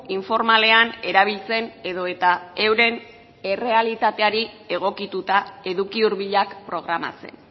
informalean erabiltzen edota euren errealitateari egokituta eduki hurbilak programatzen